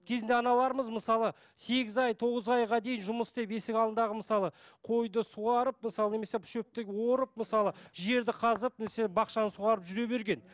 кезінде аналарымыз мысалы сегіз ай тоғыз айға дейін жұмыс істеп есік алдындағы мысалы қойды суарып мысалы немесе шөпті орып мысалы жерді қазып немесе бақшаны суарып жүре берген